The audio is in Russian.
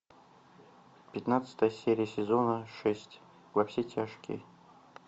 пятнадцатая серия сезона шесть во все тяжкие